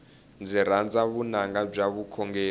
ndzi rhandza vunanga bya vukhongeri